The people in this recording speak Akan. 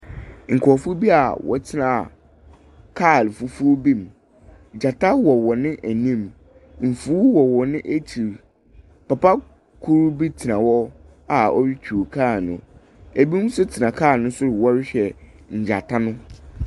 Nkorɔfo bi a wɔtsena kaar fufuw bi mu, gyata wɔ hɔn anim. Efuw wɔ hɔn ekyir. Papa kor bi tsena hɔ a orutwuw kaar no, binom so tsena kaar no sor wɔrohwɛ ngyata no.